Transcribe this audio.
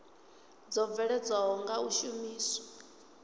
dzo bveledzwaho nga u shumiswa